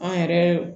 An yɛrɛ